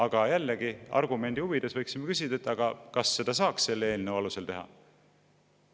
Aga jällegi, argumendi huvides võiksime küsida, kas seda saaks selle eelnõu alusel teha.